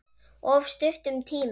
Of stuttum tíma.